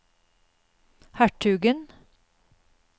hertugen